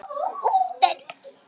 sagði Oddur úti á þekju.